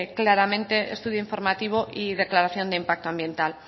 claramente estudio informativo y declaración de impacto ambiental